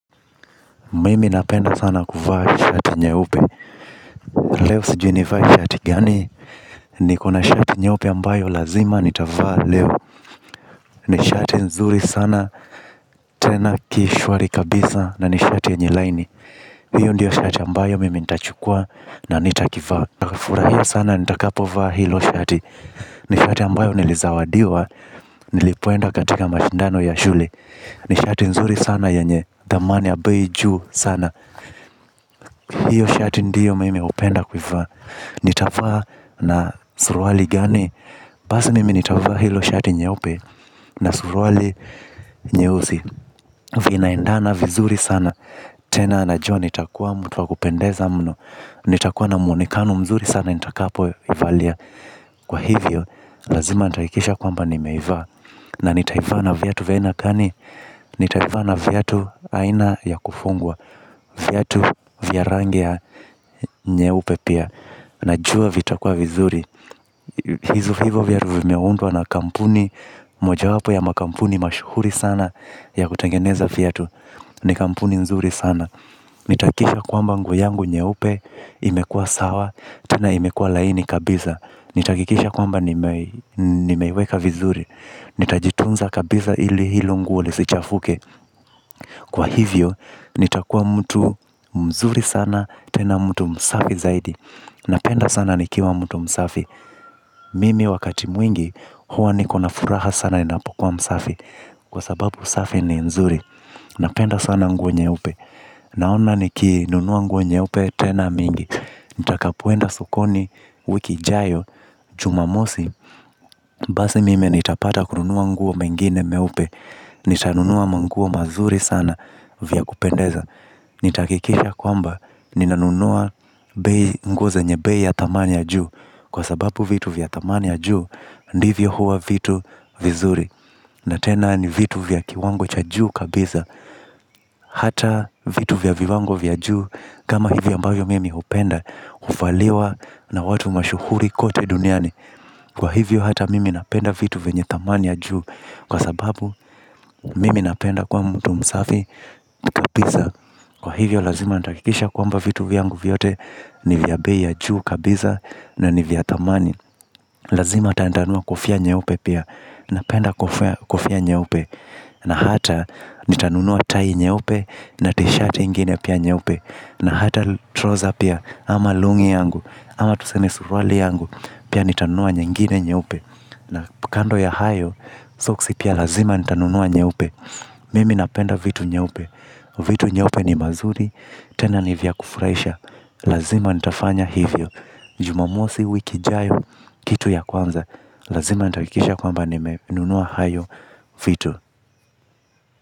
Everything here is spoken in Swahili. Mimi napenda sana kuvaa shati nyeupe. Leo sijiu nivae shati gani. Nikona shati nyeupe ambayo lazima nitavaa leo. Ni shati nzuri sana. Tena kishwari kabisa na ni shati yenye laini. Hiyo ndiyo shati ambayo mimi nitachukua. Na nitakivaa. Nitafurahia sana nitakapovaa hilo shati. Ni shati ambayo nilizawadiwa nilipoenda katika mashindano ya shule. Ni shati nzuri sana yanye dhamani ya bei juu sana. Hiyo shati ndiyo mimi hupenda kuivaa. Nitavaa na suruali gani? Basi mimi nitavaa hilo shati nyeupe. Na suruali nyeusi. Vinaendana vizuri sana. Tena najua nitakuwa mtu wa kupendeza mno. Nitakuwa na muonekano mzuri sana nitakapoivalia. Kwa hivyo lazima nitahakikisha kwamba nimeivaa. Na nitaivaa na viatu vya aina gani? Nitaivaa na viatu aina ya kufungwa. Vyatu vya rangi ya nyeupe pia. Najua vitakuwa vizuri. Hivo viatu vimeundwa na kampuni. Mojawapo ya makampuni mashuhuri sana ya kutengeneza viatu. Ni kampuni nzuri sana. Nitahakikisha kwamba nguo yangu nyeupe imekua sawa, tena imekuwa laini kabisa. Nitahakikisha kwamba nimeiweka vizuri. Nitajitunza kabisa ili hilo nguo yangu lisichafuke. Kwa hivyo, nitakuwa mtu mzuri sana, tena mtu msafi zaidi. Napenda sana nikiwa mtu msafi. Mimi wakati mwingi, huwa nikona furaha sana ninapokuwa msafi. Kwa sababu usafi ni nzuri. Napenda sana nguo nyeupe. Naona nikinunua nguo nyeupe, tena mingi. Nitakapoenda sokoni wiki ijayo, Jumamosi, Basi mimi nitapata kununua nguo mengine meupe. Nitanunua manguo mazuri sana vya kupendeza. Nitahakikisha kwamba ninanunua nguo zenye bei ya thamani ya juu, kwa sababu vitu vya thamani ya juu ndivyo huwa vitu vizuri. Na tena ni vitu vya kiwango cha juu kabisa. Hata vitu vya viwango vya juu kama hivi ambavyo mimi hupenda, huvaliwa na watu mashuhuri kote duniani. Kwa hivyo, hata mimi napenda vitu vyenye thamani ya juu kwa sababu, mimi napenda kwa mtu msafi kabisa. Kwa hivyo lazima natahakikisha kwamba vitu vyangu vyote ni vya bei ya juu kabisa na ni vya thamani. Lazima atanitanunua kofia nyeupe pia. Napenda kofia nyeupe. Na hata nitanunua tai nyeupe. Na tisheti nyingine pia nyeupe. Na hata suruali yangu, ama lungi yangu, ama tuseme suruali yangu, pia nitanunua nyingine nyeupe. Na kando ya hayo, soksi pia lazima nitanunua nyeupe. Mimi napenda vitu nyeupe. Vitu nyeupe ni mazuri tena ni vya kufurahisha. Lazima nitafanya hivyo Jumamosi wiki ijayo, kitu ya kwanza lazima nitahakikisha kwamba nimenunua hayo vitu.